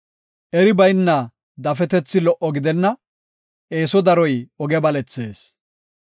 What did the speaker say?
Eri bayna dafetethi lo77o gidenna; eeso daroy oge balethees.